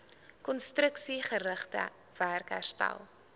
konstruksiegerigte werk herstel